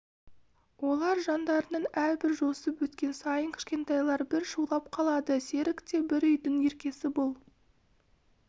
олар жандарынан әрбір жосып өткен сайын кішкентайлар бір шулап қалады серік те бір үйдің еркесі бұл